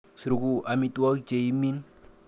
Suruku amitwogik cheimin.